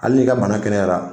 Hali n'i ka bana kɛnɛyara